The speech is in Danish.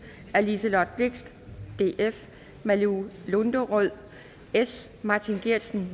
af liselott blixt malou lunderød martin geertsen